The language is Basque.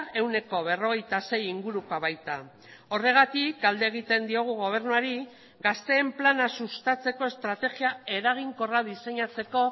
ehuneko berrogeita sei ingurukoa baita horregatik galde egiten diogu gobernuari gazteen plana sustatzeko estrategia eraginkorra diseinatzeko